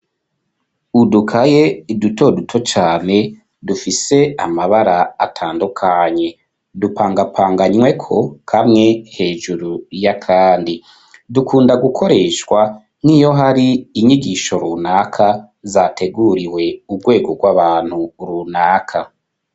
Udukaye dutoduto cane dufise amabara atandukanye. Dupangapanganyweko kamwe hejuru y'akandi. Dukunda gukoreshwa nk'iyo har'inyigisho runaka zateguriwe urwego rw'abantu runaka.